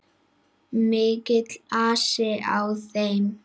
Mikill asi á þeim.